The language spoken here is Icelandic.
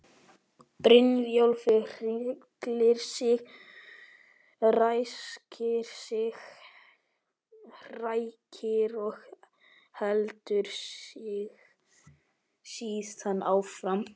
Brynjólfur hryllir sig, ræskir sig, hrækir og heldur síðan áfram.